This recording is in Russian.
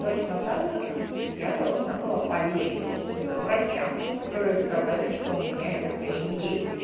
точно так же как я должна была поверить врачам которые сказали что у меня эта хрень есть